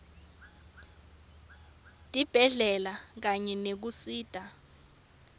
tibhedlela kanye nekusita